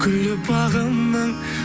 гүлі бағымның